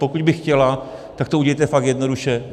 Pokud by chtěla, tak to udělejte fakt jednoduše.